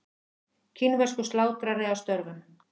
Kínverskur slátrari að störfum.